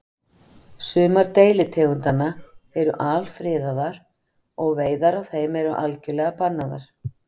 sumar deilitegundanna eru alfriðaðar og veiðar á þeim eru algjörlega bannaðar